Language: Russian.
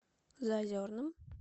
заозерным